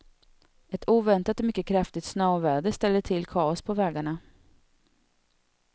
Ett oväntat och mycket kraftigt snöoväder ställde till kaos på vägarna.